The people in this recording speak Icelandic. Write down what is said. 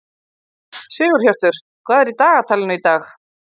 Sigurhjörtur, hvað er í dagatalinu í dag?